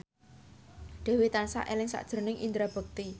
Dewi tansah eling sakjroning Indra Bekti